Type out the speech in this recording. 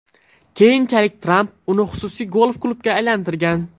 Keyinchalik Tramp uni xususiy golf-klubga aylantirgan.